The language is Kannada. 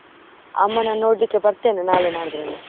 ಅಮ್ಮನನ್ನು ನೋಡ್ಲಿಕ್ಕೆ ಬರ್ತೇನೆ ನಾಳೆ ನಾಡಿದ್ರಲ್ಲಿ.